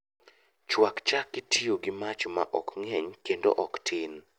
Chwak chak kitiyo gi mach ma ok ng'eny kendo ok tin